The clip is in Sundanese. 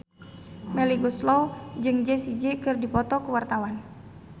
Melly Goeslaw jeung Jessie J keur dipoto ku wartawan